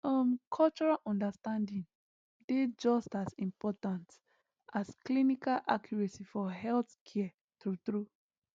um cultural understanding dey just as important as clinical accuracy for healthcare true true